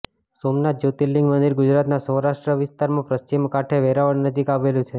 સોમનાથ જ્યોતિર્લિંગ મંદિર ગુજરાતના સૌરાષ્ટ્ર વિસ્તારમાં પશ્ચિમ કાંઠે વેરાવળ નજીક આવેલું છે